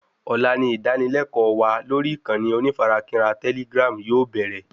Ọ̀la ni ìdánilékòó wa lórí ìkànnì onífarakínra telegram yóò bẹ̀rẹ̀